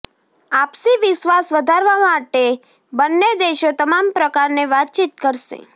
આપસી વિશ્વાસ વધારવા માટે બન્ને દેશો તમામ પ્રકારને વાતચીત કરશે